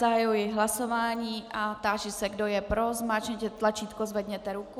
Zahajuji hlasování a táži se, kdo je pro, zmáčkněte tlačítko, zvedněte ruku.